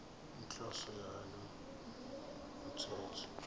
inhloso yalo mthetho